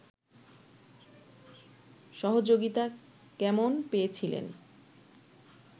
সহযোগিতা কেমন পেয়েছিলেন